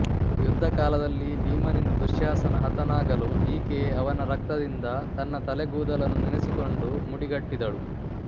ಯುದ್ಧಕಾಲದಲ್ಲಿ ಭೀಮನಿಂದ ದುಶ್ಯಾಸನ ಹತನಾಗಲು ಈಕೆ ಅವನ ರಕ್ತದಿಂದ ತನ್ನ ತಲೆಗೂದಲನ್ನು ನೆನೆಸಿಕೊಂಡು ಮುಡಿಗಟ್ಟಿದಳು